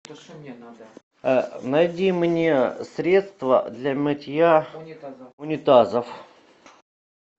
найди мне средство для мытья унитазов